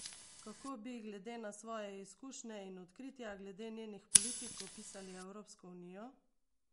Kako bi glede na svoje izkušnje in odkritja glede njenih politik opisali Evropsko unijo?